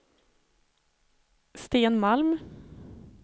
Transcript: Sten Malm